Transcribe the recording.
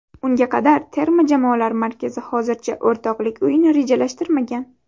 Unga qadar terma jamoalar markazi hozircha o‘rtoqlik o‘yini rejalashtirmagan.